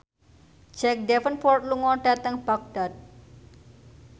Jack Davenport lunga dhateng Baghdad